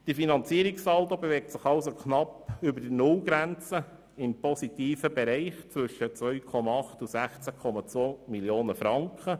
Der Finanzierungssaldo bewegt sich also knapp über der Nullgrenze im positiven Bereich zwischen 2,8 Mio. Franken und 16 Mio. Franken.